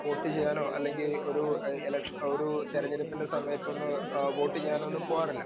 Speaker 2 vote ചെയ്യാനോ അല്ലെങ്കി ഒരു ഇലക്ഷനോ ഒരു തെരഞ്ഞെടുപ്പിനെ സമയത്തൊന്ന് അഹ് വോട്ട് ചെയ്യാനൊന്നും പോകാറില്ല.